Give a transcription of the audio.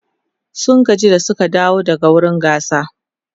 sun gaji da Suka dawo daga wurin gasar